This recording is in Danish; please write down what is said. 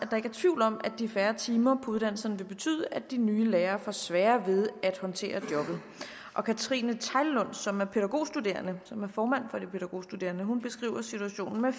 er tvivl om at de færre timer på uddannelserne vil betyde at de nye lærere får sværere ved at håndtere jobbet og katrine bødker tegllund som er pædagogstuderende og formand for de pædagogstuderende beskriver situationen med